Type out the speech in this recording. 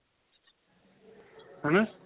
ਹਨਾ